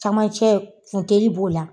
Camancɛ funteni b'o la.